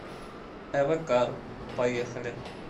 эвакар поехали